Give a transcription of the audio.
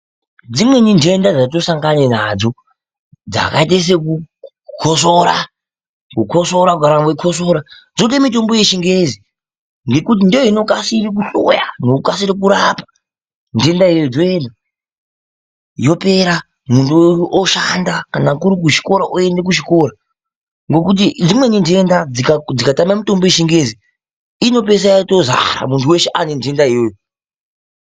Dzimweni ntenda dzatinosangane nadzo dzakaite sekukosora, kukosora kugara weikosora dzode mitombo yechingezi ngekuti ndoinokasire kuhloya nekukasire kurapa ntenda iyoyo yopera muntu oshanda, kana kuri kuchikora oende kuchikora ngokuti dzimweni ntenda dzikatama mitombo yechingezi inopeisira yotozi muntu weshe watoo nentenda iyoyo.